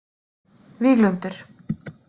Víglundur